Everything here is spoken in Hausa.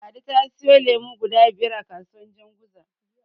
Ladi ta siyo lemo guda biyar a kasuwar Janguza.